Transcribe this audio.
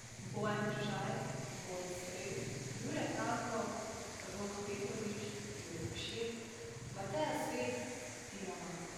Bojan Križaj, Boris Strel, Jure Franko, Rok Petrovič, Jure Košir, Mateja Svet, Tina Maze ...